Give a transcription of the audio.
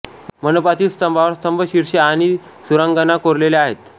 मंडपातील स्तंभावर स्तंभ शिर्षे आणि सुरांगना कोरलेल्या आहेत